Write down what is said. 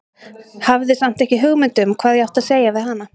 Hafði samt ekki hugmynd um hvað ég átti að segja við hana.